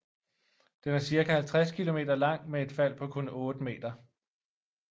Den er cirka 50 kilometer lang med et fald på kun 8 meter